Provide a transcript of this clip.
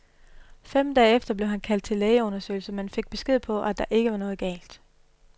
Fem dage efter blev han kaldt til lægeundersøgelse, men fik besked på, at der ikke var noget galt.